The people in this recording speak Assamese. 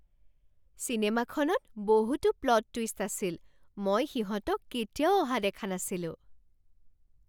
চিনেমাখনত বহুতো প্লট টুইষ্ট আছিল! মই সিহঁতক কেতিয়াও অহা দেখা নাছিলোঁ।